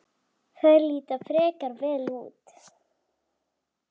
Þær líta frekar vel út.